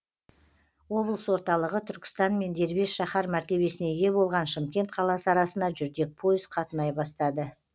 облыс орталығы түркістан мен дербес шаһар мәртебесіне ие болған шымкент қаласы арасына жүрдек пойыз қатынай бастады